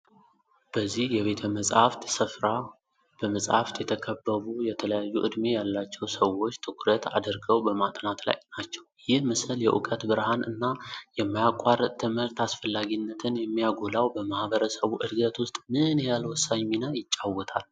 በዚህ የቤተ-መጽሐፍት ሥፍራ በመጽሐፍት የተከበቡ የተለያዩ ዕድሜ ያላቸው ሰዎች ትኩረት አድርገው በማጥናት ላይ ናቸው። ይህ ምስል የእውቀት ብርሃን እና የማያቋርጥ ትምህርት አስፈላጊነትን የሚያጎላው በማህበረሰቡ ዕድገት ውስጥ ምን ያህል ወሳኝ ሚና ይጫወታል?